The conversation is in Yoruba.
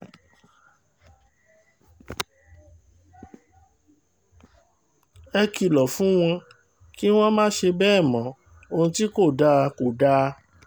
ẹ kìlọ̀ fún wọn kí wọ́n má ṣe bẹ́ẹ̀ mọ ohun tí kò dáa kó dáa